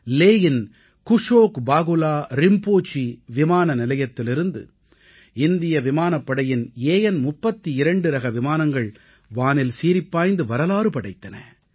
லேயின் குஷோக் பாகுலா ரிம்போசீ விமானநிலையத்திலிருந்து இந்திய விமானப்படையின் AN32ரக விமானங்கள் வானில் சீறிப்பாய்ந்து வரலாறு படைத்தன